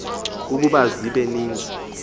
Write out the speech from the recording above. ukuba zibe ninzi